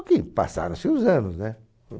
Só que passaram-se os anos, né?